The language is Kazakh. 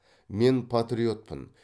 мен патриотпын